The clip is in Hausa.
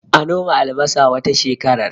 A noma albasa wata shekarar